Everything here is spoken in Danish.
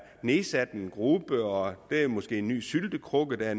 nedsat en gruppe og det er måske en ny syltekrukke der er